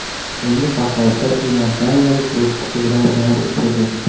Endi Bahodir iordaniyalik bokschi bilan jang o‘tkazadi.